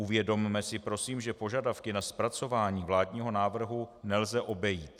Uvědomme si prosím, že požadavky na zpracování vládního návrhu nelze obejít.